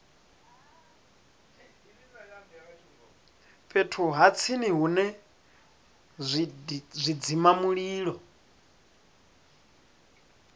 fhethu ha tsini hune zwidzimamulilo